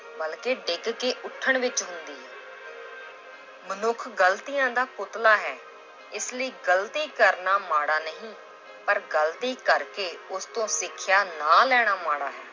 ਬਲਕਿ ਡਿੱਗ ਕੇ ਉੱਠਣ ਵਿੱਚ ਹੁੰਦੀ ਹੈ l ਮਨੁੱਖ ਗ਼ਲਤੀਆਂ ਦਾ ਪੁੱਤਲਾ ਹੈ ਇਸ ਲਈ ਗ਼ਲਤੀ ਕਰਨਾ ਮਾੜਾ ਨਹੀਂ, ਪਰ ਗ਼ਲਤੀ ਕਰਕੇ ਉਸ ਤੋਂ ਸਿੱਖਿਆ ਨਾ ਲੈਣਾ ਮਾੜਾ ਹੈ।